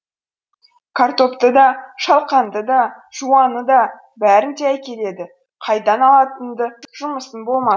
картопты да шалқанды да жуаны да бәрін де әкеледі қайдан алатынында жұмысың